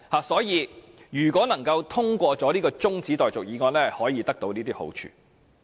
所以，如果這項中止待續議案獲得通過，便可以有這些好處。